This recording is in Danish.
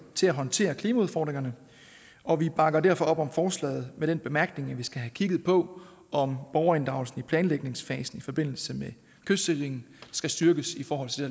til at håndtere klimaudfordringerne og vi bakker derfor op om forslaget med den bemærkning at vi skal have kigget på om borgerinddragelsen i planlægningsfasen i forbindelse med kystsikringen skal styrkes i forhold til